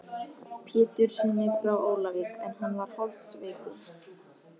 Péturssyni frá Ólafsvík en hann var holdsveikur.